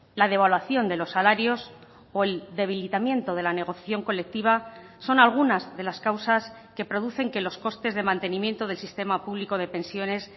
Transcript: la devaluación de los salarios o el debilitamiento de la negociación colectiva son algunas de las causas que producen que los costes de mantenimiento del sistema público de pensiones